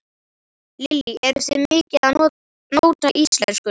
Lillý: Eruð þið mikið að nóta íslenskuna?